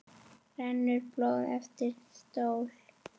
rennur blóð eftir slóð